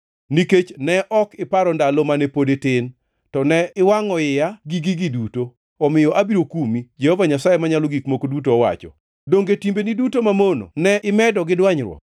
“ ‘Nikech ne ok iparo ndalo mane pod itin, to ne iwangʼo iya gi gigi duto, omiyo abiro kumi, Jehova Nyasaye Manyalo Gik Moko Duto owacho. Donge timbegi duto mamono ne imedo gi dwanyruok?